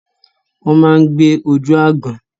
Wọ́n ma ń gbé ojú aágan.